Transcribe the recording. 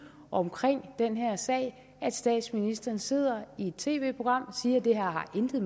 om den sag at statsministeren sidder i et tv program og siger at det her intet